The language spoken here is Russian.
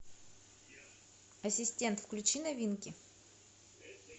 ассистент включи новинки